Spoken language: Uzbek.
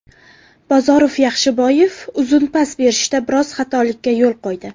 Bozorov Yaxshiboyev uzun pas berishda biroz xatolikka yo‘l qo‘ydi.